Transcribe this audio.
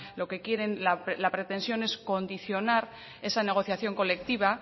lo que quieren la pretensión es condicionar esa negociación colectiva